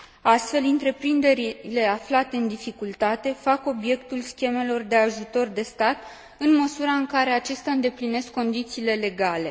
Astfel, întreprinderile aflate în dificultate fac obiectul schemelor de ajutor de stat, în măsura în care acestea îndeplinesc condițiile legale.